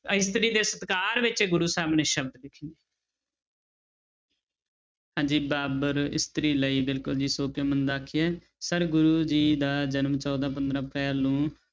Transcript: ਇਸਤਰੀ ਦੇ ਸਤਿਕਾਰ ਵਿੱਚ ਇਹ ਗੁਰੂ ਸਾਹਿਬ ਨੇ ਸ਼ਬਦ ਲਿਖੇ ਹੈ ਹਾਂਜੀ ਬਾਬਰ ਇਸਤਰੀ ਲਈ ਬਿਲਕੁਲ ਜੀ ਸੋ ਕਿਉ ਮੰਦਾ ਆਖੀਐ sir ਗੁਰੂ ਜੀ ਦਾ ਜਨਮ ਚੌਦਾਂਂ ਪੰਦਰਾਂਂ ਅਪ੍ਰੈਲ ਨੂੰ